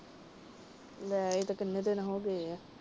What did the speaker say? ਲੈ ਇਹ ਤਾਂ ਕਿੰਨੇ ਦਿਨ ਹੋ ਗਏ ਏ।